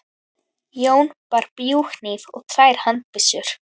Jón bar bjúghníf og tvær handbyssur.